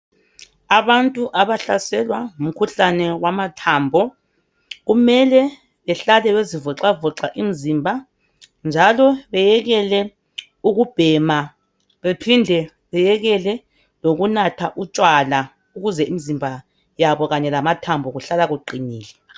Abantu abahlaselwa ngumkhuhlane wamathambo kumele behlale bezivoxavoxa imzimba njalo beyekele ukubhema bephinde beyekele lokunatha utshwala ukuze imzimba yabo kanye lamathambo kuhlala kuqinile.